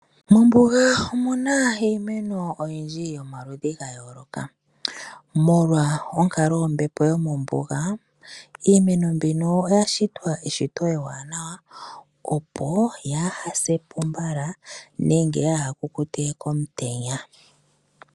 Mombuga omu na iimeno oyindji yomaludhi ga yooloka. Molwa onkalo yombepo yomombuga, iimeno mbino oya shitwa eshito ewanawa, opo yaa ha se po mbala, nenge yaw ha se po komutenya.